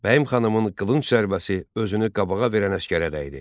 Bəyim xanımın qılınc zərbəsi özünü qabağa verən əsgərə dəydi.